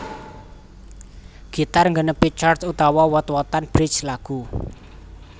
Gitar nggenepi chord utawa wot wotan bridge lagu